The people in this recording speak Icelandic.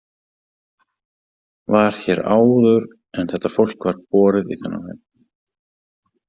Var hér áður en þetta fólk var borið í þennan heim.